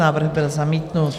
Návrh byl zamítnut.